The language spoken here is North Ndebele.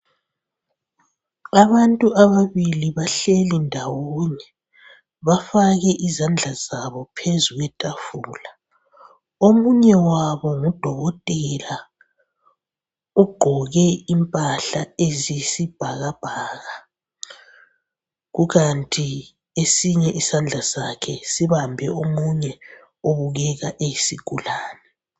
Abantu ababili bahleli ndawonye bafake izandla zabo phezu kwefafula, omunye wabo ngu dokotela ugqoke impahla eziyisibhakabhaka kukanti esinye isandla sakhe sibambe omunye obukeka eyisigulane.